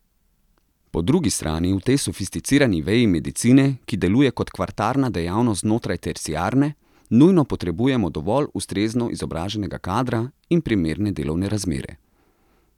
Po drugi strani v tej sofisticirani veji medicine, ki deluje kot kvartarna dejavnost znotraj terciarne, nujno potrebujemo dovolj ustrezno izobraženega kadra in primerne delovne razmere.